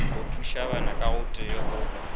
go thušabana kaotee ka o